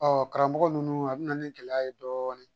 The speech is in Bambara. Ɔ karamɔgɔ ninnu a bɛ na ni gɛlɛya ye dɔɔnin